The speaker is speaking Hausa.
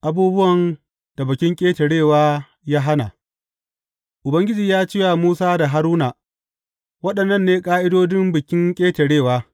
Abubuwan da Bikin Ƙetarewa ya hana Ubangiji ya ce wa Musa da Haruna, Waɗannan ne ƙa’idodin Bikin Ƙetarewa.